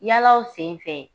Yalaw sen fɛ